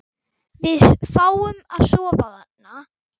Við fáum að sofa þarna.